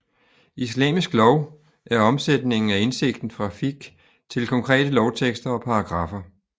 Islamisk lov er omsætningen af indsigten fra fiqh til konkrete lovtekster og paragraffer